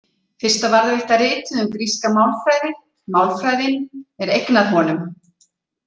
Fyrsta varðveitta ritið um gríska málfræði „Málfræðin“ er eignað honum.